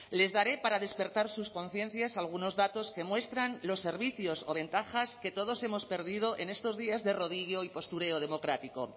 les daré para despertar sus conciencias algunos datos que muestran los servicios o ventajas que todos hemos perdido en estos días de rodillo y postureo democrático